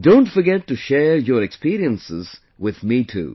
Don't forget to share your experiences with me too